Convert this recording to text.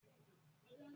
Mo sẹ̀sẹ̀ bímọ náà ni